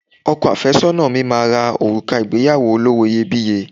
Ọkọ àfẹ́sọ́nà mi máa ra òrùka ìgbéyàwó olówó iyebíye